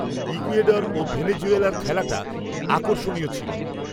Ecuador ও ভেনিজুয়েলার খেলাটা আকর্ষণীয় ছিল